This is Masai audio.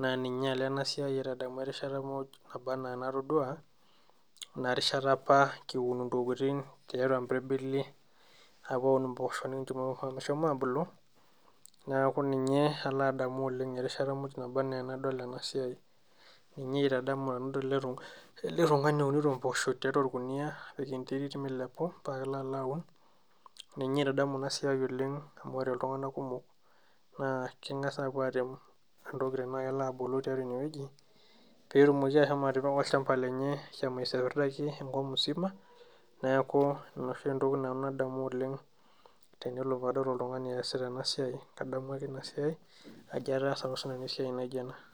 naa ninye alo ena siai aitadamu erishata muj naba anaa enatodua ina rishata apa kiun intokitin tiatua impirbili ah kiun impoosho nikincho meshomo abulu neaku ninye alo adamu oleng erishata muj naba ana enadol ena siai ninye aitadamu ninye aitadamu tenadol ele tung'ani ounito impoosho tiatua orkuniyia nepik enterit milepu paa kelo alo aun ninye aitadamu ina siiai oleng amu ore iltung'anak kumok naa keng'as apuo atem entoki tenaa kelo abulu tiatua inewueji petumoki ahomo atipika olchamba lenye ashomo aisiapirdaki enkop musima neeku ina oshi entoki nanu nadamu oleng tenelo padamu oltung'ani eesita ena siai kadamu ake ina siai ajo ataasa apa sinanu esiai naijio ena.